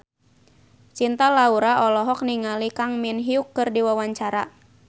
Cinta Laura olohok ningali Kang Min Hyuk keur diwawancara